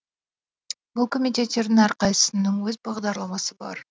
бұл комитеттердің әрқайсысының өз бағдарламасы бар